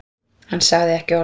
Hann sagði ekki orð.